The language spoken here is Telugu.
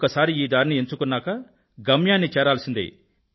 ఒక్కసారి ఈ దారిని ఎంచుకున్నాక గమ్యాన్ని చేరాల్సిందే